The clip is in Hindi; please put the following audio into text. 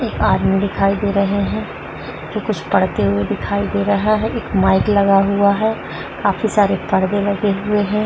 एक आदमी दिखाई दे रहे हैं जो कुछ पढ़ते हुये दिखाई दे रहा है। एक माइक लगा हुआ है काफी सारे पर्दे लगे हुये हैं।